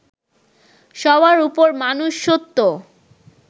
সবার উপর মানুষ সত্য